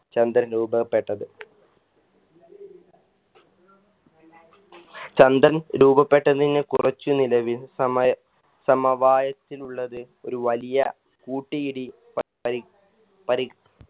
ചന്ദ്രൻ രൂപപ്പെട്ടത് ചന്ദ്രൻ രൂപപ്പെട്ടതിന് കുറച്ചു നിലവിൽ സമയ സമവായത്തിലുള്ളത് ഒരു വലിയ കൂട്ടീരി പട്ട പരി